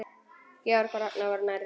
Georg og Ragnar voru nærri.